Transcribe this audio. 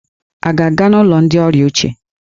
Ị ga-aga n'ụlọ ndị ọrịa uche!